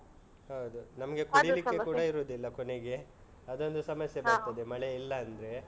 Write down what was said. ಹೌದು ನಮ್ಗೆ ಕುಡಿಲಿಕ್ಕೆ ಕೂಡ. ಇರುದಿಲ್ಲ ಕೊನೆಗೆ ಅದೊಂದು ಸಮಸ್ಯೆ. ಬರ್ತದೆ. ಹ. ಮಳೆ ಇಲ್ಲ ಅಂದ್ರೆ.